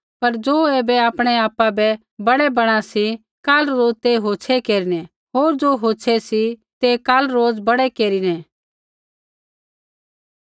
पर ज़ो ऐबरै आपणै आपा बै बड़ै बणा सी काल रोज़ ते होछ़ै केरिनै होर ज़ो होछ़ै सी ते काल रोज़ बड़ै केरिनै